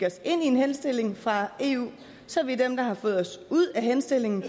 en henstilling fra eu så er vi dem der har fået henstillingen